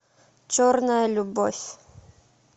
черная любовь